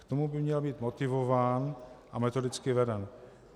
K tomu by měl být motivován a metodicky veden.